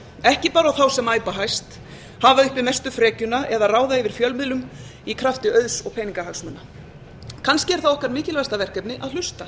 ekki bara þá sem æpa hæst hafa uppi mestu frekjuna eða ráða yfir fjölmiðlum í krafti auðs og peningahagsmuna kannski er það okkar mikilvægasta verkefni að hlusta